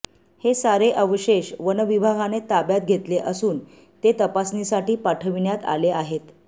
हे सारे अवशेष वनविभागाने ताब्यात घेतले असून ते तपासणीसाठी पाठविण्यात आले आहेत